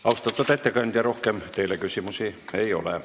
Austatud ettekandja, rohkem teile küsimusi ei ole.